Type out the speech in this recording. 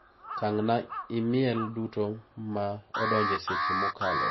Tang'na imel duto ma odonjo e seche mokalo.